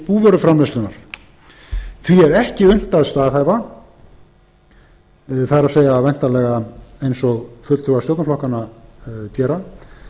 búvöruframleiðslunnar því er ekki unnt að staðhæfa það er væntanlega eins og fulltrúar stjórnarflokkanna gera